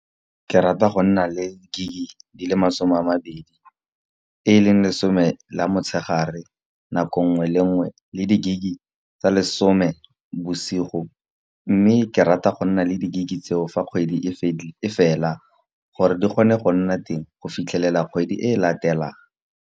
Ke rata go nna le gig di le masome a mabedi. E leng lesome la motshegare nako ngwe le ngwe, le di-gig tsa lesome bosigo. Mme ke rata go nna le di-gig tseo fa kgwedi e fela, gore di kgone go nna teng go fitlhelela kgwedi e e latelang.